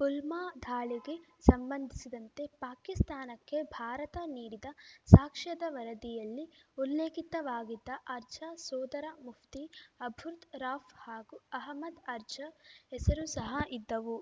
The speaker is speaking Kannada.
ಪುಲ್ವಾಮಾ ದಾಳಿಗೆ ಸಂಬಂಧಿಸಿದಂತೆ ಪಾಕಿಸ್ತಾನಕ್ಕೆ ಭಾರತ ನೀಡಿದ ಸಾಕ್ಷ್ಯದ ವರದಿಯಲ್ಲಿ ಉಲ್ಲೇಖಿತವಾಗಿದ್ದ ಅರ್ಜ ಸೋದರ ಮುಫ್ತಿ ಅಬ್ದುರ್‌ ರಾಫ್‌ ಹಾಗೂ ಹಮ್ಮಾದ್‌ ಅರ್ಜ ಹೆಸರೂ ಸಹ ಇದ್ದವು